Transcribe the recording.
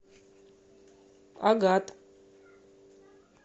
агат